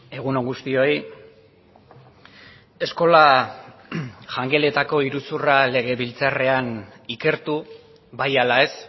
egun on guztioi eskola jangeletako iruzurra legebiltzarrean ikertu bai ala ez